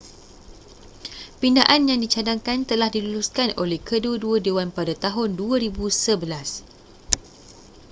pindaan yang dicadangkan telah diluluskan oleh kedua-dua dewan pada tahun 2011